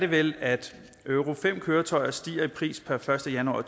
vel at euro v køretøjer stiger i pris per første januar